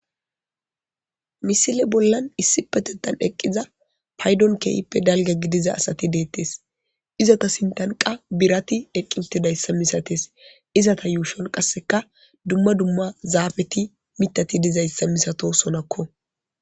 misile bollan issi petetan eqqiza paydon keeyippe dalga gidiza asati deettes izata sintanqa birati eqqinti dayssa misates izata yuushon qasseka dumma dumma zaafeti mitati dizayssa misato sonakko